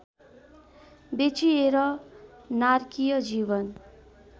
बेचिएर नारकीय जीवन